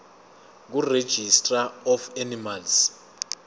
kuregistrar of animals